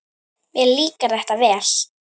Mér líkar þetta vel.